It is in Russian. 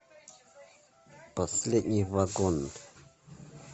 последний вагон